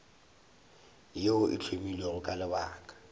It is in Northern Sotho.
yeo e hlomilwego ka lebaka